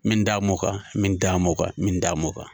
Min da m'o kan min d'a ma min da mɔ kan